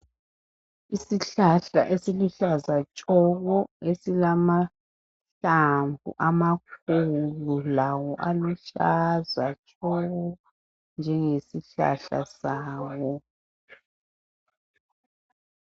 Isihlahla esiluhlaza tshoko esilamahlamvu amakhulu lawo aluhlaza tshoko njenge sihlahla sawo.